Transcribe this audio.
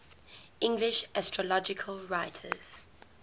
english astrological writers